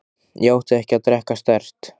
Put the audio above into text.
Ég átti ekki að drekka sterkt.